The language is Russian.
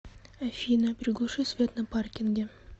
афина приглуши свет на паркинге